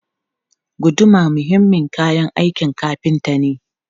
Guduma muhimmin kayan aikin kafinta ne.